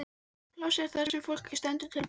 Svefnpláss er það sem fólki stendur til boða.